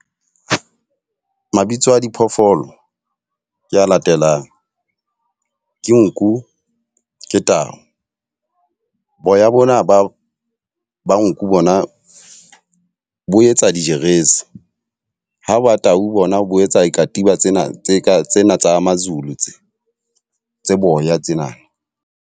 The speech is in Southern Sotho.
Mabitso a diphoofolo ke a latelang, ke nku, ke tau. Boya bona ba ba nku bona bo etsa dijeresi. Ha wa tau bona bo etsa dikatiba tsena tse ka tsena tsa ma-Zulu tse tse boya tsena.